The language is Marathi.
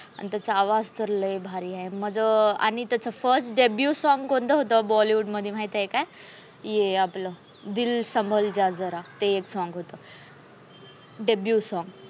आणि त्याचा आवाज तर लय भारी आहे. आणि त्याचं first debut song कोणच होतं bollywood मध्ये माहिती आहे का? हे आपला दिल समजा जरा हे song होतं debut song